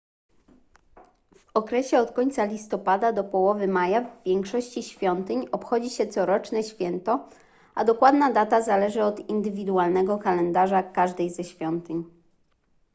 w okresie od końca listopada do połowy maja w większości świątyń obchodzi się coroczne święto a dokładna data zależy od indywidualnego kalendarza każdej ze świątyń